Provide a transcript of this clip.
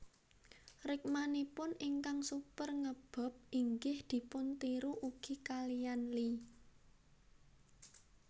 Rikmanipun ingkang super nge bob inggih dipun tiru ugi kaliyan Lee